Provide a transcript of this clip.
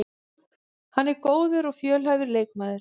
Hann er góður og fjölhæfur leikmaður